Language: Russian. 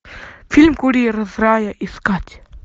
фильм курьер из рая искать